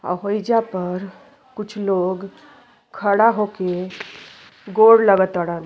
अ होईजा पर कुछ लोग खड़ा होके गोर लाग तरण।